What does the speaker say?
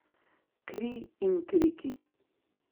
Kri in kriki.